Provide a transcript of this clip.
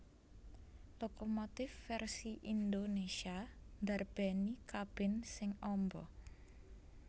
Lokomotif vèrsi Indonésia ndarbèni kabin sing amba